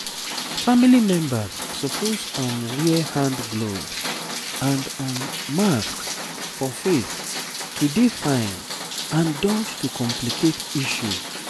family members suppose um wear hand gloves and um masks for face to dey fine and dodge to complicate issue